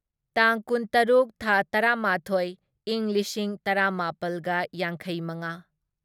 ꯇꯥꯡ ꯀꯨꯟꯇꯔꯨꯛ ꯊꯥ ꯇꯔꯥꯃꯥꯊꯣꯢ ꯢꯪ ꯂꯤꯁꯤꯡ ꯇꯔꯥꯃꯥꯄꯜꯒ ꯌꯥꯡꯈꯩꯃꯉꯥ